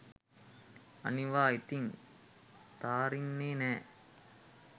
අනිවා ඉතින් තාරින්නෙ නැ